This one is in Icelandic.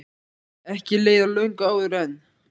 Ekki leið á löngu áður en